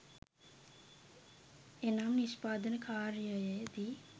එනම් නිෂ්පාදන කාර්යයේ දී